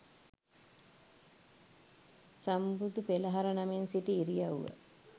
සම්බුදු පෙළහර නමින් සිටි ඉරියව්ව